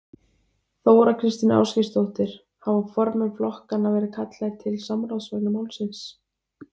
Þóra Kristín Ásgeirsdóttir: Hafa formenn flokkanna verið kallaðir til samráðs vegna málsins?